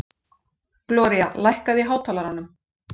Gloría, lækkaðu í hátalaranum.